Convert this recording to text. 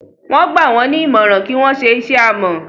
Wón gbà wón ní ìmọràn kí wón ṣe iṣé awọ